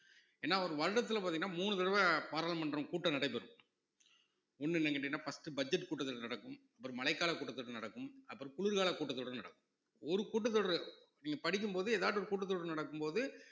ஏன்னா ஒரு வருடத்துல பார்த்தீங்கன்னா மூணு தடவை பாராளுமன்றம் கூட்டம் நடைபெறும் ஒண்ணு என்ன கேட்டீங்கன்னா first budget கூட்டத்தொடர் நடக்கும் அப்புறம் மழைக்கால கூட்டத்தொடர் நடக்கும் அப்புறம் குளிர்கால கூட்டத்தொடர் நடக்கும் ஒரு கூட்டத்தொடர் நீங்க படிக்கும் போது எதாச்சும் ஒரு கூட்டத்தொடர் நடக்கும் போது